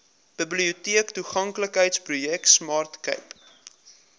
biblioteektoeganklikheidsprojek smart cape